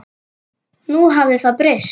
Nú hafði það gerst.